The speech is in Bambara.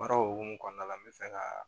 Baara o hukumu kɔnɔna la n bɛ fɛ ka